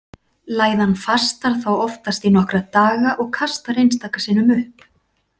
Læðan fastar þá oftast í nokkra daga og kastar einstaka sinnum upp.